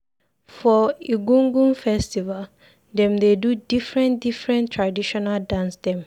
For Egungun festival, dem dey do differen differen traditional dance dem.